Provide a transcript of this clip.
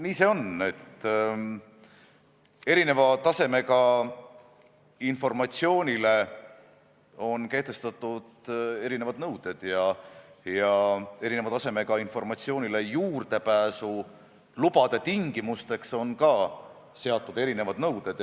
Nii see on, et eri tasemega informatsioonile on kehtestatud erinevad nõuded ja eri tasemega informatsioonile juurdepääsulubade tingimusteks on seatud ka erinevad nõuded.